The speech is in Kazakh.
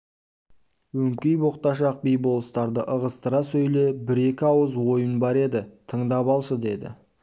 өңкей боқташақ би-болыстарды ығыстыра сөйле бір-екі ауыз ойын бар еді тыңдап алшы деді